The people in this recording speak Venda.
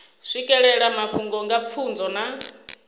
swikelela mafhungo nga pfunzo na